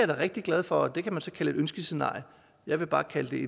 da rigtig glad for og det kan man så kalde et ønskescenarie jeg vil bare kalde